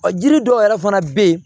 Ɔ jiri dɔw yɛrɛ fana bɛ yen